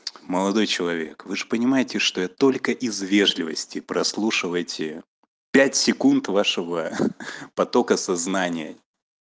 молодой человек вы же понимаете что я только из вежливости прослушал эти пять секунд вашего ха-ха потока сознания